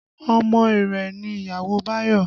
Ọmọ Iree ni ìyàwó Bayo